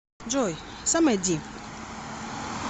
джой са май ди